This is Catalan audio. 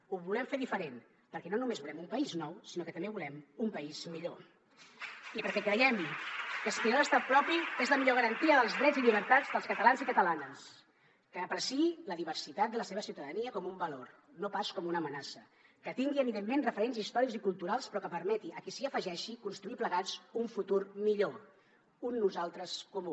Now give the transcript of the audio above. ho volem fer diferent perquè no només volem un país nou sinó que també volem un país millor i perquè creiem que aspirar a l’estat propi és la millor garantia dels drets i llibertats dels catalans i catalanes que apreciï la diversitat de la seva ciutadania com un valor no pas com una amenaça que tingui evidentment referents històrics i culturals però que permeti a qui s’hi afegeixi construir plegats un futur millor un nosaltres comú